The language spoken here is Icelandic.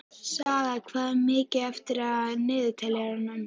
Saga, hvað er mikið eftir af niðurteljaranum?